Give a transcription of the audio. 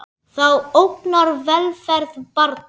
Það ógnar velferð barna.